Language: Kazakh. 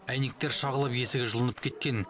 әйнектер шағылып есігі жұлынып кеткен